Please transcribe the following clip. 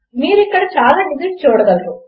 కనుక మీరు ఇక్కడ చాలా డిజిట్స్ చూడగలరు